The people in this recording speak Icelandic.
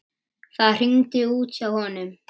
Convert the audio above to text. Það hringir út hjá honum.